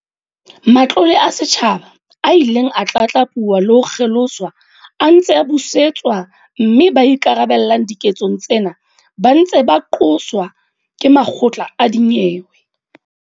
Matlole a setjhaba a ileng a tlatlapuwa le ho kgeloswa a ntse a busetswa mme ba ikarabellang diketsong tsena ba ntse ba qoswa ke makgotla a dinyewe.